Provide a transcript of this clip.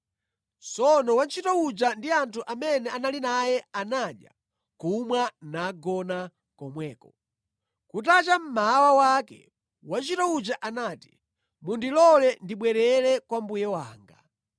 Tsono wantchito uja ndi anthu amene anali naye anadya, kumwa nagona komweko. Kutacha mmawa wake, wantchito uja anati, “Mundilole ndibwerere kwa mbuye wanga.”